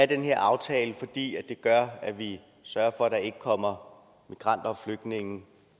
den her aftale fordi det gør at vi sørger for at der ikke kommer migranter og flygtninge